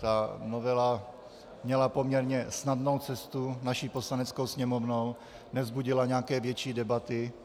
Ta novela měla poměrně snadnou cestu naší Poslaneckou sněmovnou, nevzbudila nějaké větší debaty.